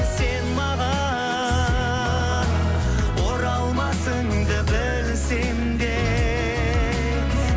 сен маған оралмасыңды білсем де